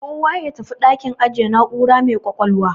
Kowa ya tafi dakin ajiye na'ura mai ƙwaƙwalwa.